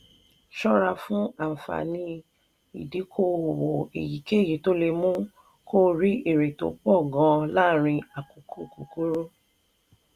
ṣọ́ra fún àǹfààní ìdíkò-òwò èyíkéyìí tó lè mú kó o rí èrè tó pọ̀ gan-an láàárín àkókò kúkúrú.